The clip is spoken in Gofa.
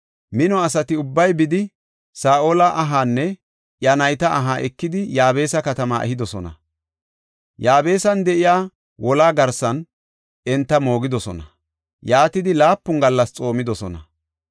mino asati ubbay bidi, Saa7ola ahaanne iya nayta aha ekidi Yaabesa katama ehidosona. Yaabesan de7iya wolaa garsan enta moogidosona; yaatidi laapun gallas xoomidosona.